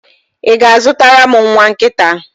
Ị ga-azụtara m nwa nkịta?